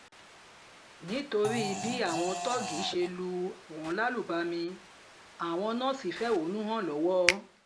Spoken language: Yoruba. nítorí bí àwọn tóógì ṣe lù wọ́n lálùbami àwọn nọ́ọ̀sì fẹ̀hónú hàn lọ́wọ́